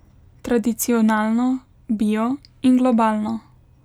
Tradicionalno, bio in globalno.